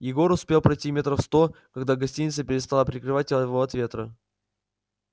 егор успел пройти метров сто когда гостиница перестала прикрывать его от ветра